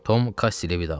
Tom Kassi ilə vidalaşdı.